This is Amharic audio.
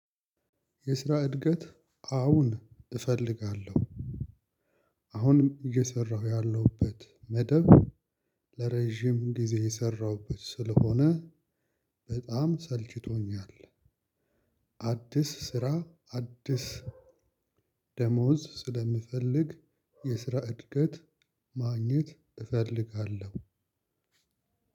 የስራ እድገት አሁን እፈልጋለሁ። አሁንም እየሰራሁ ያለሁበት መደብ ለረዥም ጊዜ የሰራሁበት ስለሆነ በጣም ሰልችቶኛል። አዲስ ስራ አዲስ ደሞዝ ስለምፈልግ። የስራ እድገት ማግኘት እፈልጋለሁ።